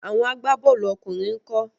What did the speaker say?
Àwọn agbá-bọ́ọ̀lù ọkùnrin ńkọ́?